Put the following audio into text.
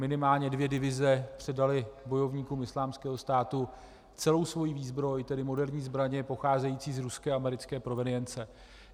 Minimálně dvě divize předaly bojovníkům Islámského státu celou svoji výzbroj, tedy moderní zbraně pocházející z ruské a americké provenience.